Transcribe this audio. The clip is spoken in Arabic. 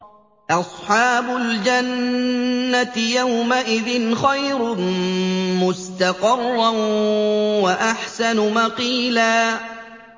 أَصْحَابُ الْجَنَّةِ يَوْمَئِذٍ خَيْرٌ مُّسْتَقَرًّا وَأَحْسَنُ مَقِيلًا